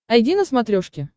айди на смотрешке